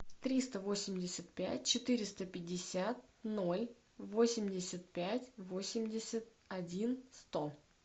триста восемьдесят пять четыреста пятьдесят ноль восемьдесят пять восемьдесят один сто